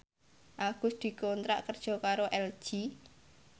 Agus dikontrak kerja karo LG